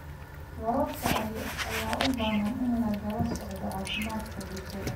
Waraabka ayaa u baahan in lagala socdo caafimaadka bulshada.